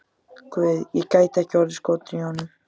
Guð, ekki gæti ég orðið skotin í honum.